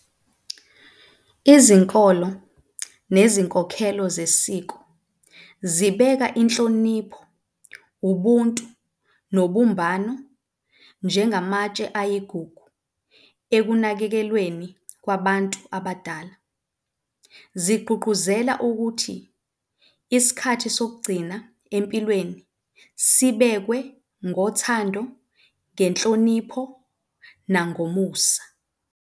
Izinkolo nezinkokhelo zesiko zibeka inhlonipho, ubuntu, nobumbano njengamatshe ayigugu ekunakekelweni kwabantu abadala. Zigqugquzela ukuthi isikhathi sokugcina empilweni sibekwe ngothando, ngenhlonipho, nangomusa.